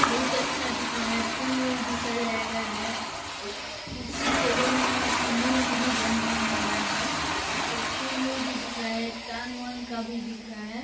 बहुत अच्छा दिख रहा है फूल-वूल भी सजाया गया है अ कुर्सी टेबल मन में चुन्दरी - वुन्दरी बंधाया गया है ऊपर फूल - वूल भी दिख रहा है चाँद-वाँद का भी दिख रहा है।